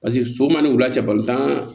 Paseke so man ni wula cɛ